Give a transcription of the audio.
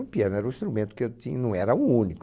O piano era o instrumento que eu tin, não era o único.